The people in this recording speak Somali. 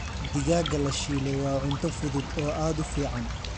Digaagga la shiilay waa cunto fudud oo aad u fiican.